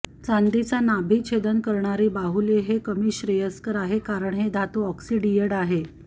चांदीचा नाभी छेदन करणारी बाहुली हे कमी श्रेयस्कर आहे कारण हे धातू ऑक्सिडीयड आहे